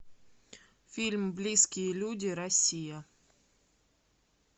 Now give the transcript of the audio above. фильм близкие люди россия